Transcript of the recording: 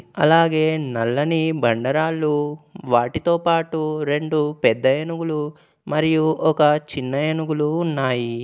అలాగే నల్లని బండరాళ్లు వాటితో పాటు రెండు పెద్ద ఏనుగులు మరియు ఒక చిన్న ఏనుగులు ఉన్నాయి.